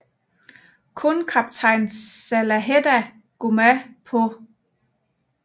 Kun kaptajn Salaheddin Gomaa på St